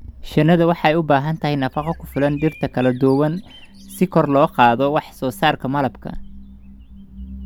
Shinnidu waxay u baahan tahay nafaqo ku filan dhirta kala duwan si kor loogu qaado wax soo saarka malabka.